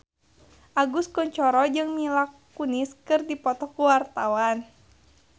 Agus Kuncoro jeung Mila Kunis keur dipoto ku wartawan